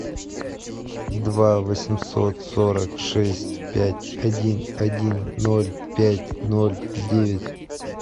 два восемьсот сорок шесть пять один один ноль пять ноль девять